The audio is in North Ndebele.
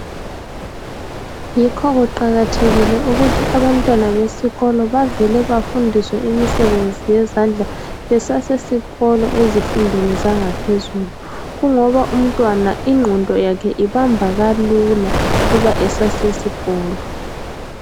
yikho kuqakathekile ukuthi abantwana besikolo bavele bafundiswe imisebenzi yezandla besasikolo ezifundweni zangaphezulu kungoba umntwana inqondo yakhe ibamba kalula uma esasesikolo